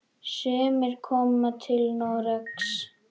Sumir koma til Noregs.